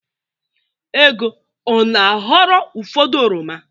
Ego ọ na-aghọrọ ụfọdụ oroma?